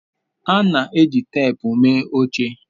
a na-eji ihe teepu mee oche